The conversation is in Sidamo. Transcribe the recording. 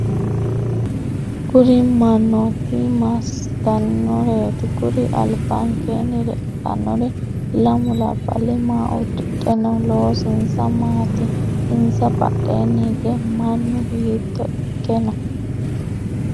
Kuri mannooti massitannoreeti? Kuri albankeenni leeltannori lammu labballi maa uddidhe no? Loosinsa maati? Insa badheenni hige mannu hiitto ikke no?